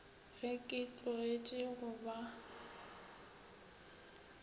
ge ke tlogetše go ba